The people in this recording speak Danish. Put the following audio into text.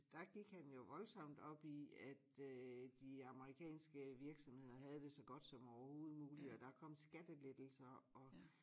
Der gik han jo voldsomt op i at øh de amerikanske virksomheder havde det så godt som overhoved muligt og der kom skattelettelser og